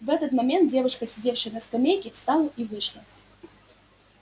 в этот момент девушка сидевшая на скамейке встала и вышла